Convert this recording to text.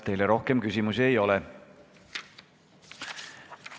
Teile rohkem küsimusi ei ole.